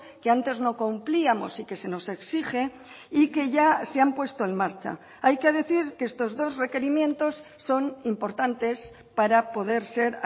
que antes no cumplíamos y que se nos exige y que ya se han puesto en marcha hay que decir que estos dos requerimientos son importantes para poder ser